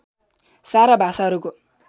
सारा भाषाहरूको